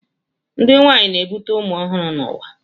Ndị nwanyị na-ebute ụmụ ọhụrụ n'ụwa